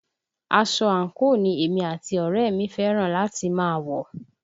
Aṣọ àǹkóò ni èmi àti ọ̀rẹ́ ẹ̀ mi fẹ́ràn láti máa wọ̀